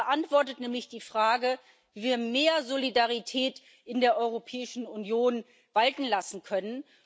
Es beantwortet nämlich die Frage, wie wir mehr Solidarität in der Europäischen Union walten lassen können.